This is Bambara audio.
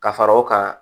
Ka fara o kan